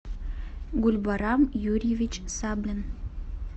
гульбарам юрьевич саблин